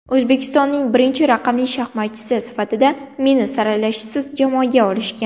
O‘zbekistoning birinchi raqamli shaxmatchisi sifatida meni saralashsiz jamoaga olishgan.